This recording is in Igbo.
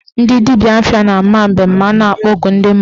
Ndị dibịa afa na-ama mbem ma a na-akpọku ndị mmụọ.